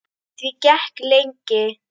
Því gekk lengi.